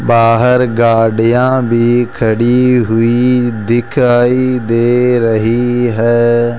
बाहर गाड़ियां भी खड़ी हुई दिखाई दे रही है।